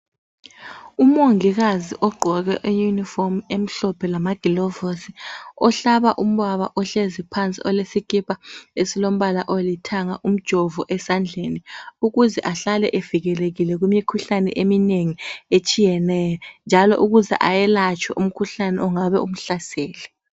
UMongikazi ogqoke iYunifomu emhlophe lama gilovizi ohlaba ubaba ohlezi phansi ogqoke isikipa esilombala olithanga umjovo esandleni ukuze ahlale evikelekile kumikhuhlaneni eminengi etshiyeneyo njalo ukuze ayelatshwe umkhuhlane ongabe umhlasele.